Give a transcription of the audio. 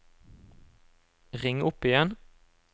ring opp igjen